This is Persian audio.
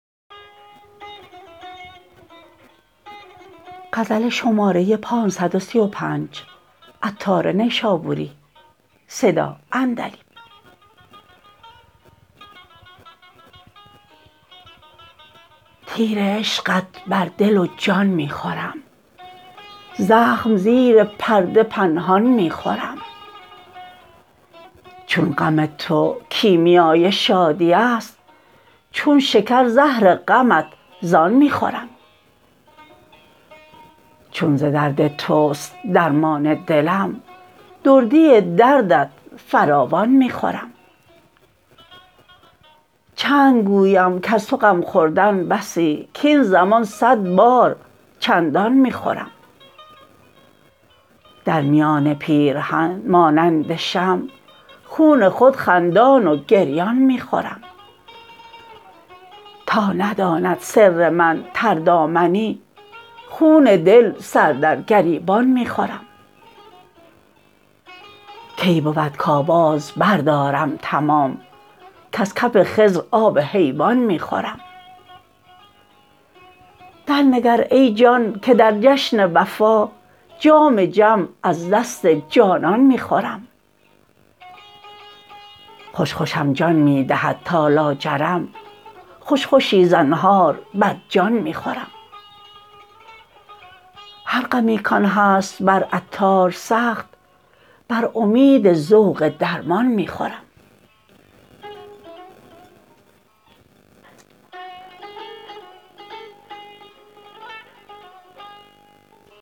تیر عشقت بر دل و جان می خورم زخم زیر پرده پنهان می خورم چون غم تو کیمیای شادی است چون شکر زهر غمت زان می خورم چون ز درد توست درمان دلم دردی دردت فراوان می خورم چند گویم کز تو غم خوردم بسی کین زمان صد بار چندان می خورم در میان پیرهن مانند شمع خون خود خندان و گریان می خورم تا نداند سر من تردامنی خون دل سر در گریبان می خورم کی بود کاواز بردارم تمام کز کف خضر آب حیوان می خورم درنگر ای جان که در جشن وفا جام جم از دست جانان می خورم خوش خوشم جان می دهد تا لاجرم خوش خوشی زنهار بر جان می خورم هر غمی کان هست بر عطار سخت بر امید ذوق درمان می خورم